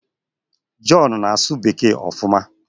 John na-asụ Bekee ofuma